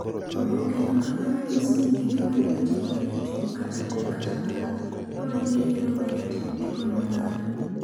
Oboke ma kamano nyiso ni gik ma biro timore e tugo kata beyo kata marach, luwore gi yiero ma jatend tugono ng’ado.